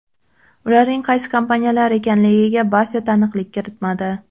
Ularning qaysi kompaniyalar ekanligiga Baffet aniqlik kiritmadi.